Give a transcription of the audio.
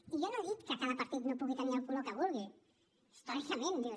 i jo no he dit que cada partit no pugui tenir el color que vulgui històricament dius